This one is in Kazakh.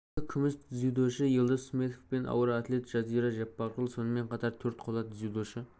екі күміс дзюдошы елдос сметов пен ауыр атлет жазира жаппарқұл сонымен қатар төрт қола дзюдошы